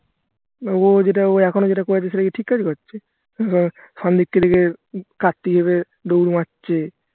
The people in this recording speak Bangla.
মানে ও যেটা এখনো যেটা করে আছে সেটা ঠিক কাজ করছে উম সন্দীপকে দেখে কার্তিক ভেবে দৌড় মারছে